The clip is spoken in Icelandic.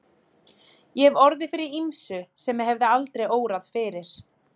Ég hef orðið fyrir ýmsu sem mig hefði aldrei órað fyrir.